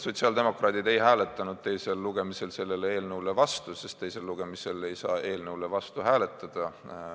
Sotsiaaldemokraadid ei hääletanud teisel lugemisel selle eelnõu vastu, sest teisel lugemisel ei saa eelnõu vastu hääletada.